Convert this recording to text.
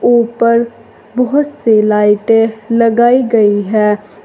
ऊपर बहोत सी लाइटे लगाई गई हैं।